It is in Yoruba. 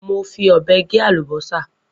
Mo fí ọbẹ gẹ àlúbọsà.